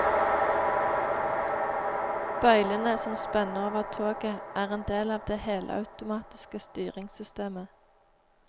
Bøylene som spenner over toget er en del av det helautomatiske styringssystemet.